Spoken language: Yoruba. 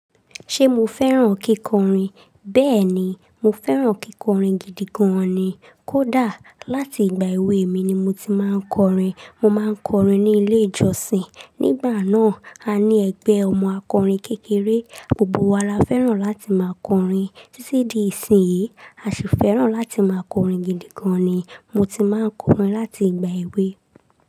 Ṣé mo fẹ́ràn kíkọrin? Bẹ́ẹ̀ ni, mo fẹ́ràn kíkọrin gidi gan ni. Kódà láti ìgbà èwe mi ni mo ti máa ń kọrin. Mo máa ń kọrin ní ilé ìjọsìn. Nígbà náà, a ní ẹgbẹ́ ọmọ akọrin kékeré, gbogbo wa la fẹ́ràn láti máa kọrin. Títí di ìsinyìí, a sì fẹ́ràn láti máa kọrin gidi gan ni. Mo ti máa ń kọrin láti ìgbà èwe.